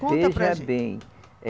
Conta. Veja bem, eh